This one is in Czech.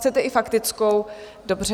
Chcete i faktickou, dobře.